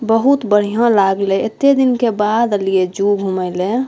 बहुत बढ़िया लागले एते दिन के बाद एलिए जू घूमे ले।